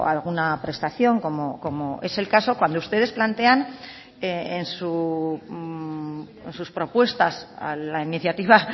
alguna prestación como es el caso cuando ustedes plantean en sus propuestas a la iniciativa